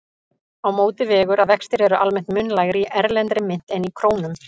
Á móti vegur að vextir eru almennt mun lægri í erlendri mynt en í krónum.